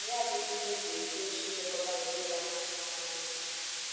mana onyinye abụghi ihe eji edochi ilekota na idọ aka na aka na nti